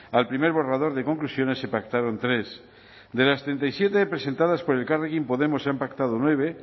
al primer borrador de conclusiones se pactaron tres de las treinta y siete presentadas por elkarrekin podemos se han pactado nueve